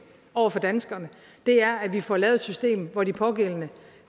over for danskerne er at vi får lavet et system hvor de pågældende